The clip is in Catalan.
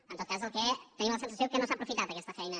en tot cas tenim la sensació que no s’ha aprofitat aquesta feina